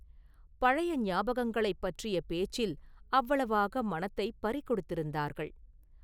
பழைய ஞாபகங்களைப் பற்றிய பேச்சில் அவ்வளவாக மனத்தைப் பறிகொடுத்திருந்தார்கள்.